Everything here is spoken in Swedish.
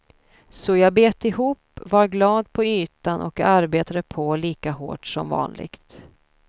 Så jag bet ihop, var glad på ytan och arbetade på lika hårt som vanligt.